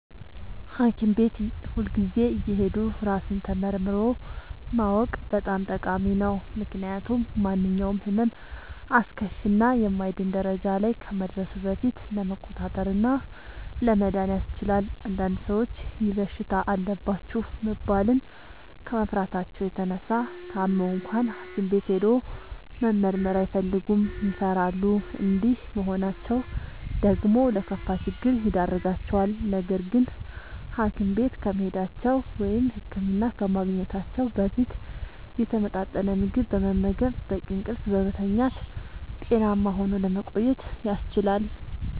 ሀኪም ቤት ሁልጊዜ እየሄዱ ራስን ተመርምሮ ማወቅ በጣም ጠቃሚ ነው። ምክንያቱም ማንኛውም ህመም አስከፊ እና የማይድን ደረጃ ላይ ከመድረሱ በፊት ለመቆጣጠር እና ለመዳን ያስችላል። አንዳንድ ሰዎች ይህ በሽታ አለባችሁ መባልን ከመፍራታቸው የተነሳ ታመው እንኳን ሀኪም ቤት ሄዶ መመርመር አይፈልጉም ይፈራሉ። እንዲህ መሆናቸው ደግሞ ለከፋ ችግር ይዳርጋቸዋል። ነገርግን ሀኪም ቤት ከመሄዳቸው(ህክምና ከማግኘታቸው) በፊት የተመጣጠነ ምግብ በመመገብ፣ በቂ እንቅልፍ በመተኛት ጤናማ ሆኖ ለመቆየት ያስችላል።